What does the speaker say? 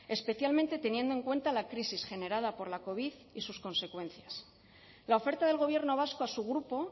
especialmente teniendo en cuenta la crisis generada por la covid y sus consecuencias la oferta del gobierno vasco a su grupo